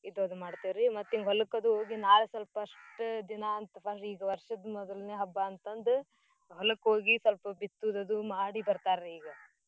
ಇದೊಂದ ಮಾಡ್ತಿವ್ರೀ ಮತ್ತೆ ಹೊಲಕ್ ಅದು ಹೋಗಿ ನಾಳೇ first ದಿನಾ ಅಂತ್ ವರ್ಷದ್ ಮೋದ್ನೆ ಹಬ್ಬಾ ಅಂತಂದ್ ಹೋಲ್ಕ್ ಹೋಗಿ ಸ್ವಲ್ಪ ಬಿತ್ತೂದದು ಮಾಡಿ ಬರ್ತಾರಿ.